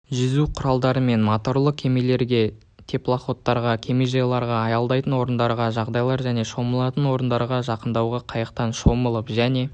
жүзу құралдарымен моторлы кемелерге теплоходтарға кемежайларға аялдайтын орындарға жағажайлар және шомылатын орындарға жақындауға қайықтан шомылып және